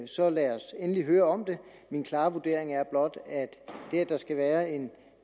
så lad os endelig høre om det min klare vurdering er blot at det at der skal være en